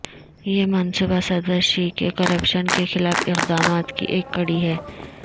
یہ منصوبہ صدر شی کے کرپشن کے خلاف اقدامات کی ایک کڑی ہے